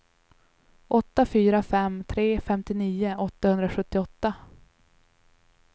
åtta fyra fem tre femtionio åttahundrasjuttioåtta